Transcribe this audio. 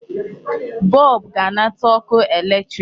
Bulb ga-anata ọkụ electric.